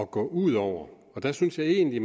gå ud over og der synes jeg egentlig